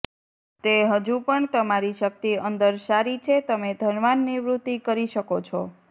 તે હજુ પણ તમારી શક્તિ અંદર સારી છે તમે ધનવાન નિવૃત્તિ કરી શકો છો